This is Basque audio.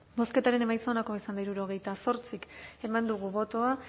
bozketaren emaitza onako izan da hirurogeita zortzi eman dugu bozka